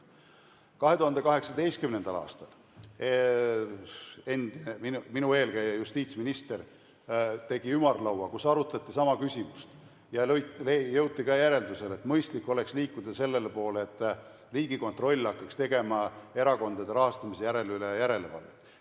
2018. aastal tegi minu eelkäija justiitsminister ümarlaua, kus arutati sama küsimust ja jõuti samuti järeldusele, et mõistlik oleks liikuda selle poole, et Riigikontroll hakkaks tegema erakondade rahastamise üle järelevalvet.